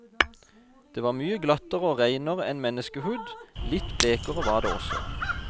Det var mye glattere og reinere enn menneskehud, litt blekere var det også.